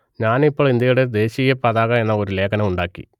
ഞാൻ ഇപ്പോൾ ഇന്ത്യയുടെ ദേശീയ പതാക എന്ന ഒരു ലേഖനം ഉണ്ടാക്കി